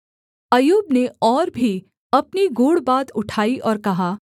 अय्यूब ने और भी अपनी गूढ़ बात उठाई और कहा